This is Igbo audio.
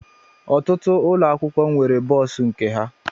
Ọtụtụ ụlọ akwụkwọ nwere bọs nke ha